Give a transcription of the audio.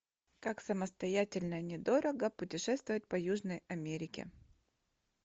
как самостоятельно недорого путешествовать по южной америке